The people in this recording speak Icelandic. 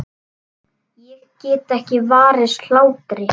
Ég get ekki varist hlátri.